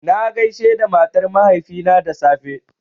Na gaishe da matar mahaifina da safe